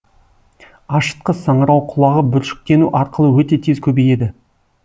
ашытқы саңырауқұлағы бүршіктену арқылы өте тез көбейеді